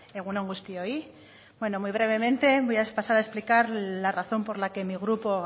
egun on guztioi bueno muy brevemente voy a pasar a explicar la razón por la que mi grupo